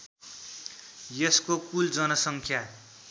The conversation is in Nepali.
यसको कुल जनसङ्ख्या